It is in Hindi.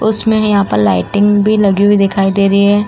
उसमें भी यहां पर लाइटिंग भी लगी हुई दिखाई दे रही है।